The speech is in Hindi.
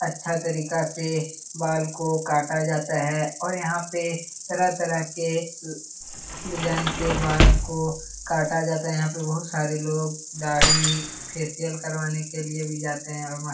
अच्छा तरीका से बाल को काटा जाता है और यहाँ पे तरह-तरह के अम डिजाइन से बाल को काटा जाता है यहाँ पे बहुत सारे लोग दाढ़ी फेशियल करवाने के लिए भी जाते हैं और मस्त --